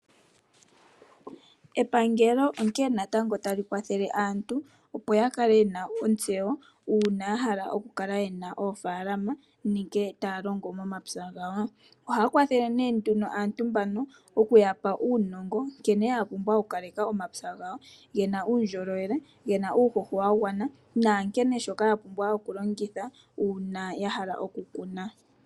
Epangelo onkene natango tali kwathele aantu, opo ya kale yena ontseyo uuna ya hala oku kala yena oofaalama ngele taya longo momapya gawo. Ohaya kwathele nee nduno asntu mbano oku ya pa uunono, nkene ya pumbwa oku kaleka omapya gawo, gena uundjolowele, gena uuhoho wa gwana nankene shoka ya pumbwa oku longitha uuna ya hala oku kuna.